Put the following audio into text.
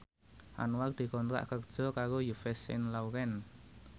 Anwar dikontrak kerja karo Yves Saint Laurent